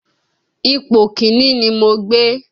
Ipò Kínní ni mo gbé